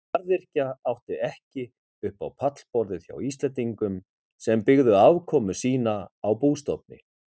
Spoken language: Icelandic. Garðyrkja átti ekki upp á pallborðið hjá Íslendingum sem byggðu afkomu sína á bústofni.